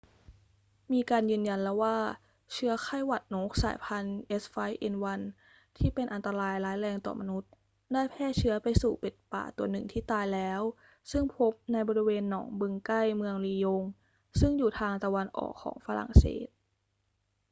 มีการยืนยันแล้วว่าเชื้อไข้หวัดนกสายพันธุ์ h5n1 ที่เป็นอันตรายร้ายแรงต่อมนุษย์ได้แพร่เชื้อไปสู่เป็ดป่าตัวหนึ่งที่ตายแล้ว ซึ่งพบในบริเวณหนองบึงใกล้เมืองลียงซึ่งอยู่ทางตะวันออกของฝรั่งเศส